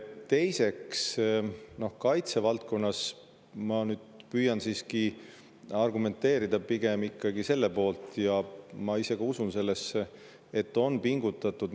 Teiseks, ma nüüd püüan siiski argumenteerida ikkagi selle poolt, millesse ma ise ka usun, et kaitsevaldkonnas on pingutatud.